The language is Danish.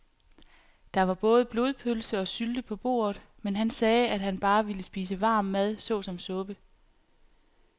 Der var både blodpølse og sylte på bordet, men han sagde, at han bare ville spise varm mad såsom suppe.